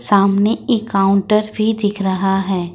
सामने एक काउंटर भी दिख रहा है।